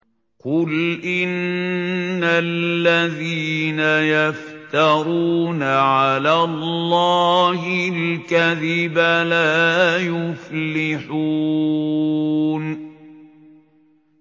قُلْ إِنَّ الَّذِينَ يَفْتَرُونَ عَلَى اللَّهِ الْكَذِبَ لَا يُفْلِحُونَ